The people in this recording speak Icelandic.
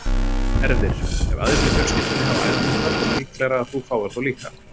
Erfðir- Ef aðrir í fjölskyldunni hafa æðahnúta er líklegra að þú fáir þá líka.